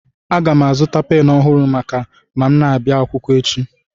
Aga m azụta pen ọhụrụ maka ma m na-abịa akwụkwọ echi